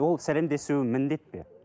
ол сәлемдесуі міндет пе